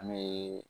An bɛ